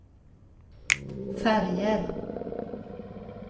färger